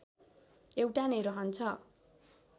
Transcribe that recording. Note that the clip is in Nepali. एउटा नै रहन्छ